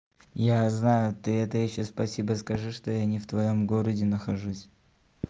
я знаю ты это ещё спасибо скажи что я не в твоём городе нахожусь